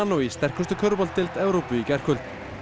í sterkustu Evrópu í gærkvöld